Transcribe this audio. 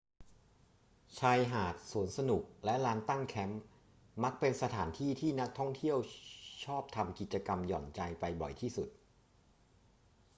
ชายหาด สวนสนุก และลานตั้งแคมป์มักเป็นสถานที่ที่นักท่องเที่ยวที่ชอบทำกิจกรรมหย่อนใจไปบ่อยที่สุด